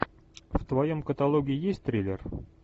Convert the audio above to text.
в твоем каталоге есть триллер